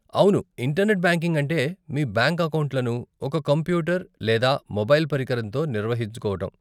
అవును, internet banking అంటే మీ బ్యాంక్ అకౌంట్లను ఒక కంప్యూటర్ లేదా మొబైల్ పరికరంతో నిర్వహించుకోవటం.